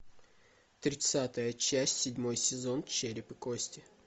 тридцатая часть седьмой сезон череп и кости